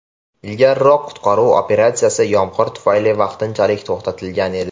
Ilgariroq qutqaruv operatsiyasi yomg‘ir tufayli vaqtinchalik to‘xtatilgan edi.